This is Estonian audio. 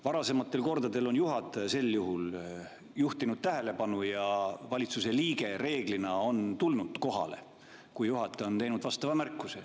Varasematel kordadel on juhataja sel juhul juhtinud sellele tähelepanu ja valitsuse liige reeglina on tulnud kohale, kui juhataja on teinud vastava märkuse.